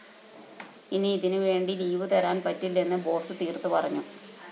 ഇനി ഇതിനുവേണ്ടി ലീവുതരാന്‍ പറ്റില്ലെന്ന് ബോസ്‌ തീര്‍ത്തുപറഞ്ഞു